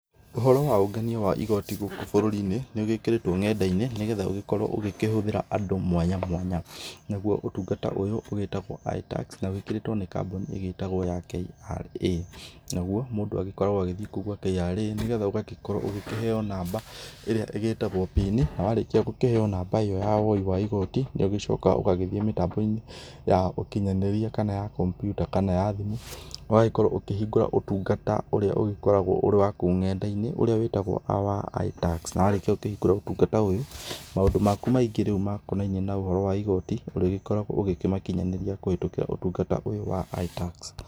Ũhoro wa ũngania wa igoti gũkũ bũrũri-inĩ nĩ ũgĩkĩrĩtwo ng'enda-inĩ nĩgetha ũgĩkorwo ũgĩkĩhũthĩra andũ mwanya mwanya. Naguo ũtungata ũyũ ũgĩtagwo ĩtax na wĩkĩrĩtwo nĩ kambũni ĩgĩtagwo ya KRA, naguo mũndũ agĩkoragwo agĩthiĩ kou gwa KRA nĩgetha ũgagĩkorwo ũgĩkĩheo namba ĩrĩa ĩgĩtagwo pini na warĩkia gũkĩheo namba ĩyo ya woi wa igoti, nĩ ũgĩcokaga ũgagĩthiĩ mĩtambo-inĩ ya ũkinyanĩria kana ya kompyuta kana ya thimũ ũgagĩkorwo ũkĩhingũra ũtungata ũrĩa ũgĩkoragwo ũrĩ wa kou ng'enda-inĩ, ũrĩa wĩtagwo our iTax, na wakĩrĩkia gũkĩhingũra ũtungata ũyũ maũndũ maku maingĩ rĩu makonainie na ũhoro wa igoti, ũrĩgĩkoragwo ũgĩkĩmakinyanĩria kũhĩtũkĩra ũtungata ũyũ wa ĩtax.